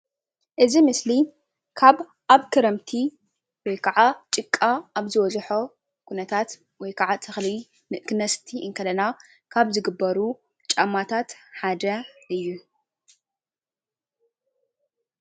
እዚ ምስሊ ኣብ ክረምቲ ወይ ከዓ ጭቃ ኣብ ዝቦዝሖ ኹነታት ወይ ከዓ ተኽሊ ኽነስቲ እንከለና ዝግበር ጫማ እዩ።